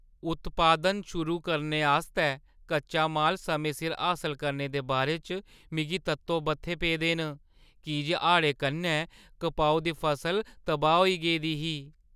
उत्पादन शुरू करने आस्तै कच्चा माल समें सिर हासल करने दे बारे च मिगी तत्तो-बत्थे पेदे न, की जे हाड़ें कन्नै कपाहू दी फसल तबाह् होई गेदी ही।